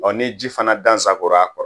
Ɔ ni ji fana dansagora a kɔrɔ